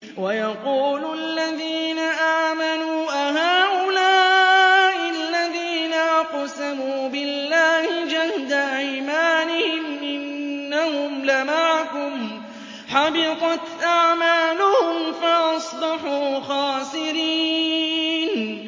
وَيَقُولُ الَّذِينَ آمَنُوا أَهَٰؤُلَاءِ الَّذِينَ أَقْسَمُوا بِاللَّهِ جَهْدَ أَيْمَانِهِمْ ۙ إِنَّهُمْ لَمَعَكُمْ ۚ حَبِطَتْ أَعْمَالُهُمْ فَأَصْبَحُوا خَاسِرِينَ